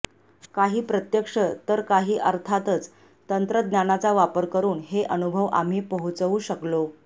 काही प्रत्यक्ष तर काही अर्थातच तंत्रज्ञानाचा वापर करून हे अनुभव आम्ही पोहोचवू शकलो